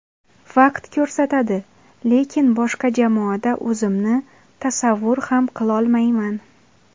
Vaqt ko‘rsatadi, lekin boshqa jamoada o‘zimni tasavvur ham qilolmayman.